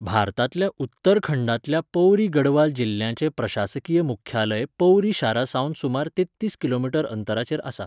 भारतांतल्या उत्तरखंडांतल्या पौरी गढवाल जिल्ल्याचें प्रशासकीय मुख्यालय पौरी शारा सावन सुमार तेत्तीस किलोमीटर अंतराचेर आसा.